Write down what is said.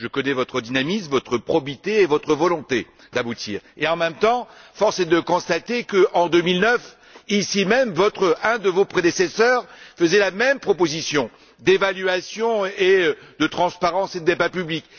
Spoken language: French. Je connais votre dynamisme, votre probité et votre volonté d'aboutir. En même temps, force est de constater qu'en 2009, ici même, un de vos prédécesseurs faisait la même proposition d'évaluation, de transparence et de débat public.